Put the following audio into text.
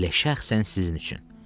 Elə şəxsən sizin üçün.